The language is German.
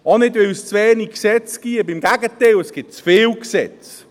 Auch nicht, weil es zu wenig Gesetze gäbe – im Gegenteil, es gibt zu viele Gesetze.